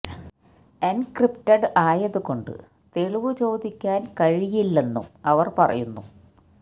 encrypted ആയതു കൊണ്ട് തെളിവ് ചോദിക്കാൻ കഴിയില്ലെന്നും അവർ പറയുന്നു